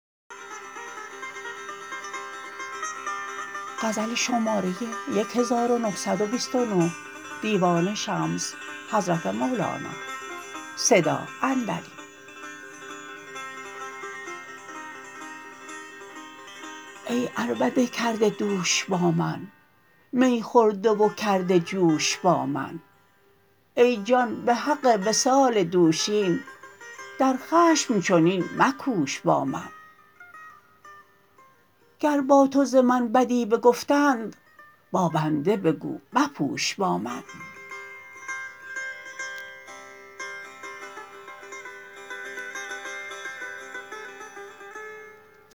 ای عربده کرده دوش با من می خورده و کرده جوش با من ای جان به حق وصال دوشین در خشم چنین مکوش با من گر با تو ز من بدی بگفتید با بنده بگو مپوش با من